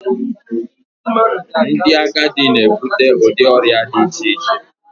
ndị agadi na-ebute ụdị ọrịa dị iche iche